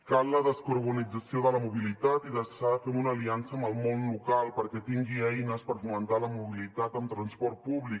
cal la descarbonització de la mobilitat i s’ha de fer una aliança amb el món local perquè tingui eines per fomentar la mobilitat amb transport públic